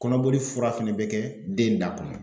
Kɔnɔboli fura fɛnɛ bɛ kɛ den da kɔnɔ.